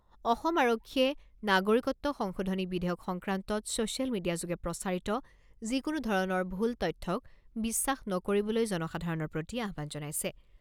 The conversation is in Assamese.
অসম আৰক্ষীয়ে নাগৰিকত্ব সংশোধনী বিধেয়ক সংক্ৰান্তত চ'ছিয়েল মিডিয়াযোগে প্ৰচাৰিত যিকোনো ধৰণৰ ভুল তথ্যক বিশ্বাস নকৰিবলৈ জনসাধাৰণৰ প্ৰতি আহ্বান জনাইছে।